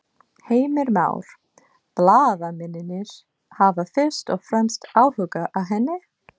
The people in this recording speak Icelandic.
Heimir Már: Blaðamennirnir hafa fyrst og fremst áhuga á henni?